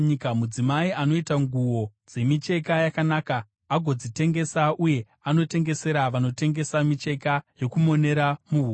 Mudzimai anoita nguo dzemicheka yakanaka agodzitengesa, uye anotengesera vanotengesa micheka yokumonera muhuro.